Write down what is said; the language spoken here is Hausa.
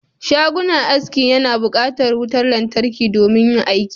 Shagon aski yana buƙatar wutar lantarki domin yin aiki